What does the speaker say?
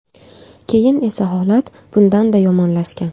Keyin esa holat bundanda yomonlashgan.